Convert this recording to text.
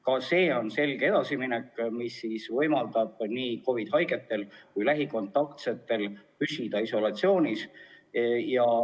Ka see on selge edasiminek, mis võimaldab nii COVID-iga nakatunutel kui ka lähikontaktsetel püsida isolatsioonis.